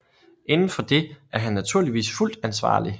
Inden for det er han naturligvis fuldt ansvarlig